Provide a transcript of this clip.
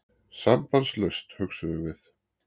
Sambandslaust, hugsuðum við.